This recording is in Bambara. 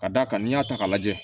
Ka d'a kan n'i y'a ta k'a lajɛ